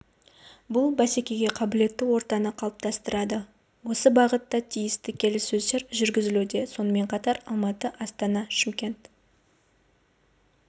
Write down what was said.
бұл бсекеге қабілетті ортаны қалыптастырады осы бағытта тиісті келіссөздер жүргізілуде сонымен қатар алматы астана шымкент